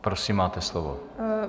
Prosím, máte slovo.